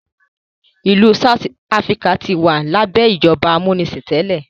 ilú south Africa tí wà labẹ ìjọba amunisin tẹlẹ.